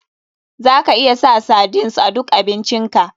Za ka iya sa sardines a duk abincin ka.